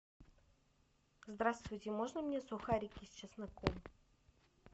здравствуйте можно мне сухарики с чесноком